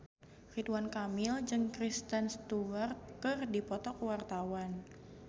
Ridwan Kamil jeung Kristen Stewart keur dipoto ku wartawan